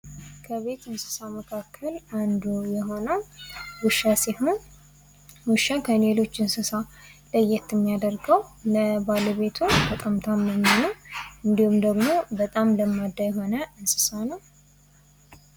ከቤት እንስሳ መካከል ውስጥ አንዱ የሆነው ውሻ ሲሆን ውሻ ከሌሎች እንስሳ ለየት እሚያደርገው ባለቤቶች በጣም ታማኝና በጣም ለማዳ የሆነ እንድሁም ደግሞ በጣም ለማዳ የሆነ እንስሳ ነው።